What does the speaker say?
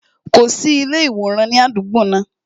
Kò sí ilé iworan ní àdúgbò náà